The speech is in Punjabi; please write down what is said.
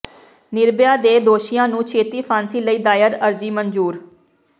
ਨਿਰਭੈਆ ਦੇ ਦੋਸ਼ੀਆਂ ਨੂੰ ਛੇਤੀ ਫਾਂਸੀ ਲਈ ਦਾਇਰ ਅਰਜ਼ੀ ਮਨਜ਼ੂਰ